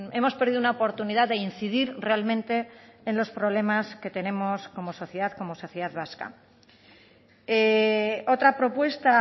hemos perdido una oportunidad de incidir realmente en los problemas que tenemos como sociedad como sociedad vasca otra propuesta